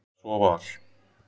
Eða svo var.